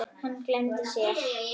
Hann gleymdi sér.